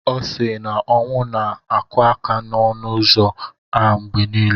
Ọ sị na ọnwụ na-akụ aka n'ọnụ ụzọ a mgbe niile.